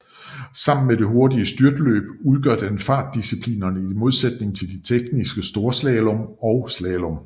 Sammen med det hurtigere styrtløb udgør det fartdisciplinerne i modsætningen til de tekniske storslalom og slalom